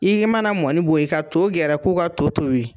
I i mana mɔni bɔ yen, ka to gɛrɛ ko ka to tobi